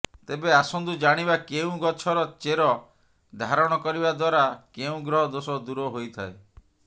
ତେବେ ଆସନ୍ତୁ ଜାଣିବା କେଉଁ ଗଛର ଚେର ଧାରଣ କରିବା ଦ୍ବାରା କେଉଁ ଗ୍ରହ ଦୋଷ ଦୂର ହୋଇଥାଏ